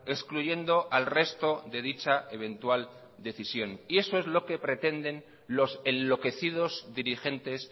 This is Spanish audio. excluyendo al resto de dicha eventual decisión y eso es lo que pretenden los enloquecidos dirigentes